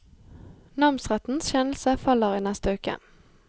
Namsrettens kjennelse faller i neste uke.